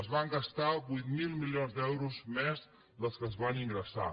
es van gastar vuit mil milions d’euros més del que es van ingressar